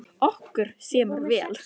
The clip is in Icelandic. Okkur semur vel